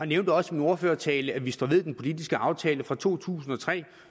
nævnte også i min ordførertale at vi står ved den politiske aftale fra to tusind og tre